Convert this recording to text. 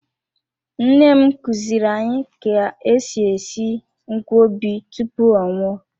Nne m kuziri anyị ka-esi esi nkwobi tupu ọ nwụọ.